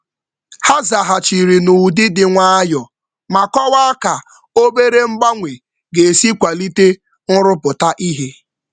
Ha nyere um nzaghachi n’ụzọ dị mma ma um kọwaa ka um obere mgbanwe ga-esi kwalite mmepụta. kwalite mmepụta.